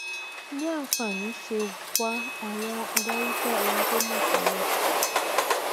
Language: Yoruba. bí àǹfààní ṣe wà àwọn adarí fẹ ohun tó mọ tẹlẹ